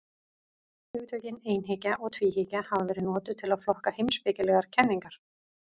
Hugtökin einhyggja og tvíhyggja hafa verið notuð til að flokka heimspekilegar kenningar.